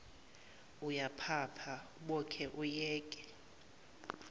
uyaphapha uboke uyeke